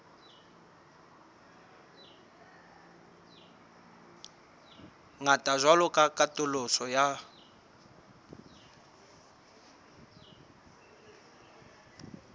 ngata jwalo ka katoloso ya